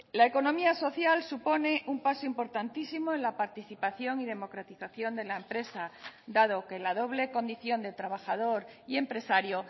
la economía social supone un paso importantísimo en la participación y democratización de la empresa dado que la doble condición de trabajador y empresario